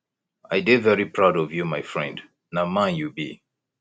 i dey very proud of you my friend na man you be